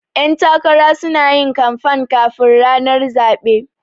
Ƴan takara sunayin kanfan kafin ranar zaɓe